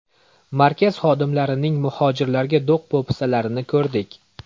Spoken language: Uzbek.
Markaz xodimlarining muhojirlarga do‘q-po‘pisalarini ko‘rdik.